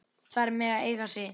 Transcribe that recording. Þær mega eiga sig.